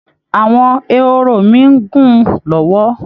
Àwọn ehoro mi ń gùn lọ́wọ́